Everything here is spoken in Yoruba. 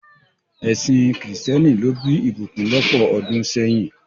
Ẹsìn kìrìsìtẹ́nì ló bí ìbùkún lọ́pọ̀ ọdún sẹ́yìn.